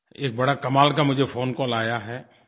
एक बड़ा कमाल का मुझे फोन कॉल आया है